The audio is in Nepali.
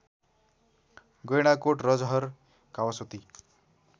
गैँडाकोट रजहर कावासोती